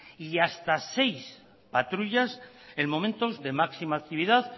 y hasta seis patrullas en momentos de máxima actividad